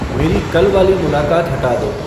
मेरी कल वाली मुलाक़ात हटा दो